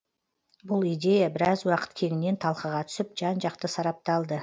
бұл идея біраз уақыт кеңінен талқыға түсіп жан жақты сарапталды